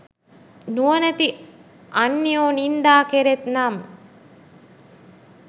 නුවණැති අන්‍යයෝ නින්දා කෙරෙත් නම්